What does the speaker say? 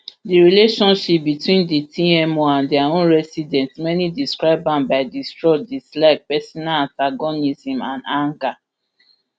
di relationship between di tmo and dia own residents many describe am by distrust dislike personal antagonism and anger